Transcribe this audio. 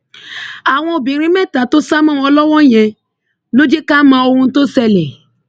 àwọn obìnrin mẹta tó sá mọ wọn lọwọ yẹn ló jẹ ká mọ ohun tó ṣẹlẹ